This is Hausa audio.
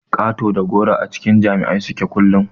Ƙato da goro a cikin jama'a suke kullun.